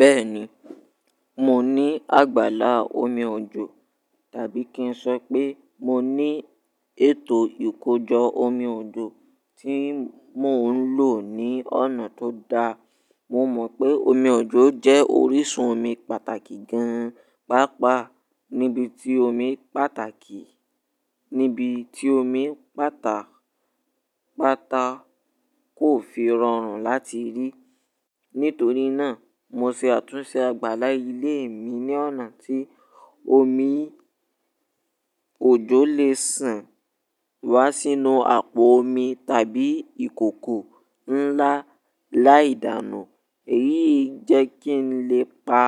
Bẹ́ẹ̀ni, mo ní àgbàlá omi òjò, tàbí kí n sọ pé mo ní ètò ìkójọ omi òjò tí mò ń lò ní ọ̀nà tó dáa. Mo mọ̀ pé omi òjò jẹ́ orísun omi pàtàkì gan-an, pàápàá níbi tí omi pàtàkì, níbi tí omi pàtà, pàtà kò fi rọrùn láti rí. Nítorí náà, mo ṣe àtúnṣe àgbàlá ilé mi ní ọ̀nà tí omi òjó lè ṣàn wá sínú àpò omi tàbí ìkòkò ńlá láì dànù. Èyí jẹ́ kí n lè pa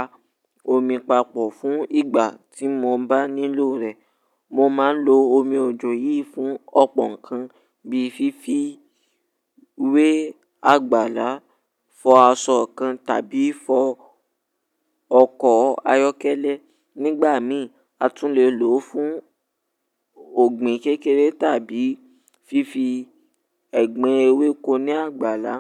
omi papọ̀ fún ìgbà tí mo bá nílò rẹ̀. Mo máa ń lo omi òjò yìí fún ọ̀pọ̀ nǹkan bíi fífi wé àgbàlá, fọ aṣọ kan tàbí fọ ọkọ̀ ayọ́kẹ́lẹ́. Nígbà mìí, a tún lè lò ó fún ọ̀gbìn kékeré tàbí fífi ẹ̀gbin ewéko ní àgbàlá.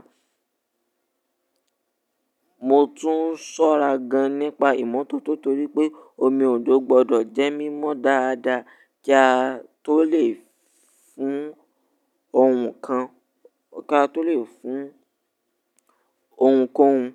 Mo tún ṣọ́ra gan-an nípa ìmọ́tótó torí pé omi òjò gbọdọ̀ jẹ́ mímọ́ dáadáa kí a tó lè fún òun kan, kí a tó lè fún ohunkóhun.